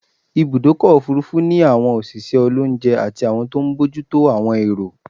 Ibùdọ́kọ̀ òfurufú ni àwọn òṣìṣẹ́ olóúnje àti àwọn tó n bójútó àwọn èrò